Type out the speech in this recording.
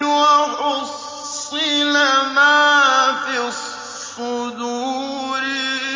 وَحُصِّلَ مَا فِي الصُّدُورِ